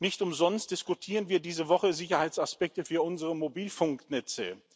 Nicht umsonst diskutieren wir diese Woche Sicherheitsaspekte für unsere Mobilfunknetze.